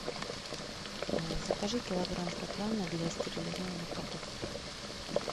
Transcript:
закажи килограмм проплана для стерилизованных котов